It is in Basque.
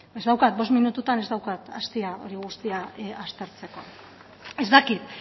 ez daukat bost minututan ez daukat astia hori guztia aztertzeko ez dakit